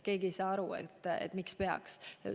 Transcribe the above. Keegi ei saa aru, miks peaks olema nii.